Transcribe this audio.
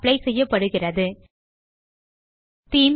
apply செய்யப்படுகிறது themes